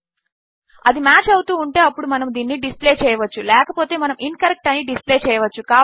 అది మాచ్ అవుతూ ఉంటే అప్పుడు మనము దీనిని డిస్ప్లే చేయవచ్చు లేకపోతే మనము ఇన్కరెక్ట్ అని డిస్ప్లే చేయవచ్చు